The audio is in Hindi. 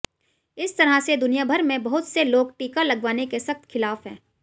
इस तरह से दुनियाभर में बहुत से लोग टीका लगवाने के सख्त खिलाफ हैं